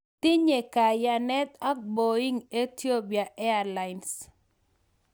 Tinye kayanet ak Boeing Ehiopian airlines